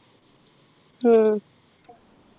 ഉം